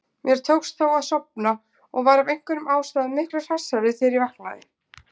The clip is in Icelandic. Mér tókst þó að sofna og var af einhverjum ástæðum miklu hressari þegar ég vaknaði.